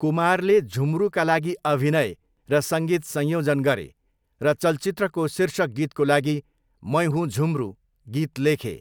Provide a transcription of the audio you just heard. कुमारले झुम्रुका लागि अभिनय र सङ्गीत संयोजन गरे, र चलचित्रको शीर्षक गीतको लागि 'मैं हुूँ झुम्रू' गीत लेखे।